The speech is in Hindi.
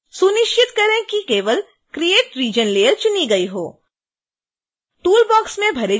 सुनिश्चित करें कि केवल create region layer चुनी गई हो